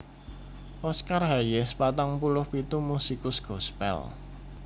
Oscar Hayes patang puluh pitu musikus gospèl